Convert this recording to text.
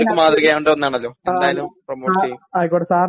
അതെ ഇത് എല്ലാര്ക്കും മാതൃക ആവേണ്ട ഒന്നാണല്ലോ എന്തായാലും പ്രൊമോട്ട് ചെയ്യും